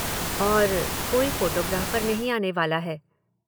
और कोई फ़ोटोग्राफ़र नहीं आने वाला है।